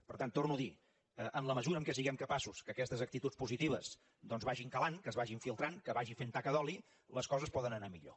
per tant ho torno a dir en la mesura que siguem capaços que aquestes actituds positives vagin cavant que es vagin filtrant que vagi fent taca d’oli les coses poden anar a millor